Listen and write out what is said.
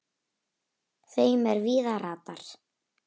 þeim er víða ratar